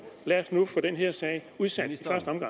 lad os nu få den her sag udsat